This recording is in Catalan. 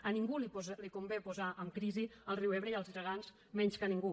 a ningú li convé posar en crisi el riu ebre i als ciutadans menys que a ningú